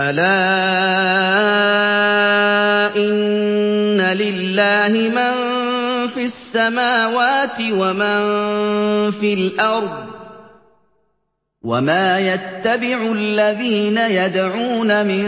أَلَا إِنَّ لِلَّهِ مَن فِي السَّمَاوَاتِ وَمَن فِي الْأَرْضِ ۗ وَمَا يَتَّبِعُ الَّذِينَ يَدْعُونَ مِن